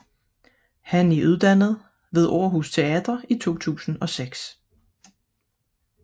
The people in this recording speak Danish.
Han er uddannet ved Århus Teater i 2006